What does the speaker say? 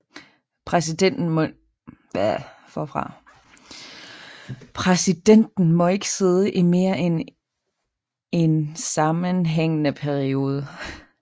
Præsidenten må ikke sidde i mere end en sammenhængende periode